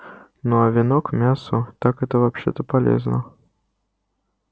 ну а вино к мясу так это вообще-то полезно